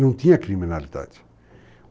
Não tinha criminalidade.